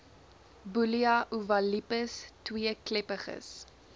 bullia ovalipes tweekleppiges